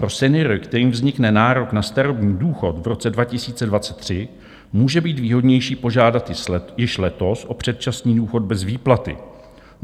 Pro seniory, kterým vznikne nárok na starobní důchod v roce 2023, může být výhodnější požádat již letos o předčasný důchod bez výplaty.